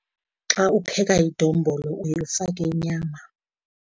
Xa upheka idombolo uye ufake inyama.